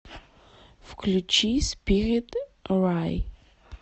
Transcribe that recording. включи спирит рай